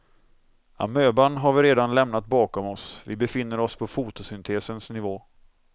Amöban har vi redan lämnat bakom oss, vi befinner oss på fotosyntesens nivå.